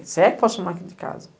Se é que posso chamar aqui de casa.